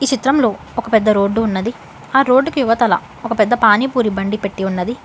చిత్రంలో ఒక పెద్ద రోడ్డు ఉన్నది ఆ రోడ్డు కి ఇవతల ఒక పెద్ద పానీపూరి బండి పెట్టి ఉన్నది.